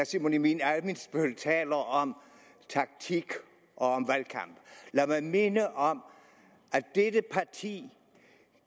simon emil ammitzbøll taler om taktik og om valgkamp lad mig minde om at dette parti